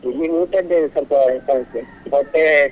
ಇಲ್ಲಿ ಊಟದ್ದೇ ಸ್ವಲ್ಪ ಸಮಸ್ಯೆ ಹೊಟ್ಟೆ.